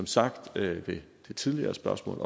sagt ved det tidligere spørgsmål